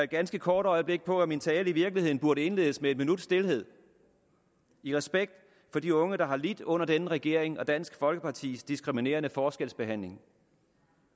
ganske kort øjeblik på at min tale i virkeligheden burde indledes med en minuts stilhed i respekt for de unge der har lidt under denne regering og dansk folkepartis diskriminerende forskelsbehandling